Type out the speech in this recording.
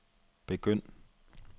begynd